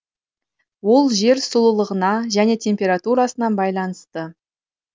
ол жер сұлулығына және температурысына байланысты